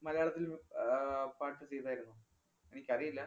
മലയാളത്തില്‍ മ്~ ആഹ് പാട്ട് ചെയ്താരുന്നോ? എനിക്കറിയില്ല.